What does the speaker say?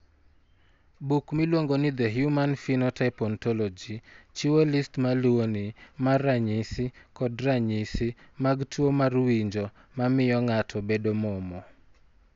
Buk miluongo ni The Human Phenotype Ontology chiwo list ma luwoni mar ranyisi kod ranyisi mag tuo mar winjo ma miyo ng'ato bedo momo.